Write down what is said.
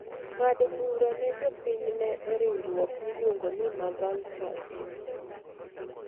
ng�ado bura ne jopinyne e riwruok miluongo ni maVultures.